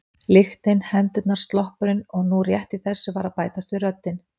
Lyktin, hendurnar, sloppurinn og nú rétt í þessu var að bætast við röddin